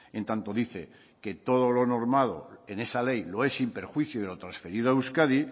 en tanto dice que todo lo normado en esa ley lo es sin perjuicio de los transferido a euskadi